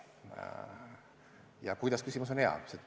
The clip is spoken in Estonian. See kuidas-küsimus on hea.